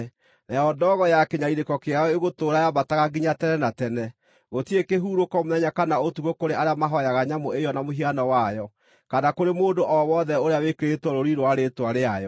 Nayo ndogo ya kĩnyariirĩko kĩao ĩgũtũũra yambataga nginya tene na tene. Gũtirĩ kĩhurũko mũthenya kana ũtukũ kũrĩ arĩa mahooyaga nyamũ ĩyo na mũhiano wayo, kana kũrĩ mũndũ o wothe ũrĩa wĩkĩrĩtwo rũũri rwa rĩĩtwa rĩayo.”